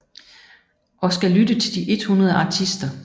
Og skal lytte til de 100 artister